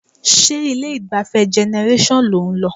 Ṣé ilé-ìgbafẹ́ Generation lò ń lọ?